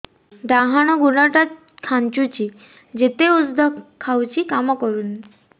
ଡାହାଣ ଗୁଡ଼ ଟା ଖାନ୍ଚୁଚି ଯେତେ ଉଷ୍ଧ ଖାଉଛି କାମ କରୁନି